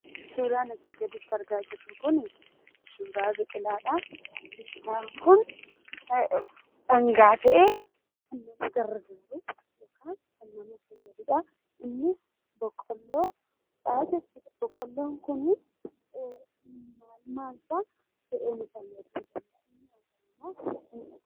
Suuraan asii gaditti argaa jirru kuni suuraa biqilaadhaa. Biqilaan kun dhangaa ta'ee kan nama fayyadudha. Innis boqqolloodha jechuudha. Boqqolloon kun maalfaa ta'ee nu fayyada?